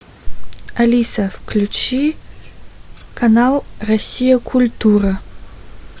алиса включи канал россия культура